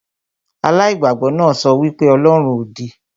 Aláìgbàgbọ náà sọ wí pé ọlọ́run òdì